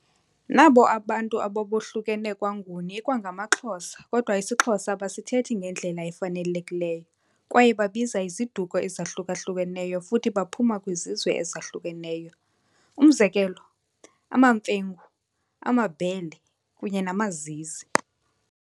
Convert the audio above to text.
Nabo abo bantu babohlukene kwaNguni ikwangamaXhosa kodwa isiXhosa abasithethi ngendlela efanelekileyo kwaye babiza iziduko ezohluka-hlukeneyo futhi baphuma kwizizwe ezahlukeneyo umzekelo- amaMfengu, amaBhele kunye namaZizi.